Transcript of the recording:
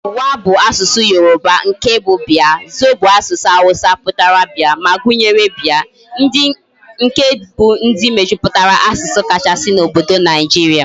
Wa bu asusu Yoruba, nke bu bia, Zo bu asusu Hausa putara bia, ma gunyere bia. ndi bu nke mejuputara asusu kachasi na obodo Nigeria